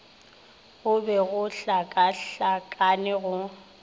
go be go hlakahlakane go